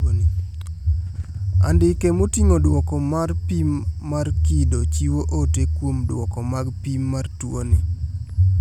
Andike moting`o duoko mar pim mar kido chiwo ote kuom duoko mag pim mar tuoni.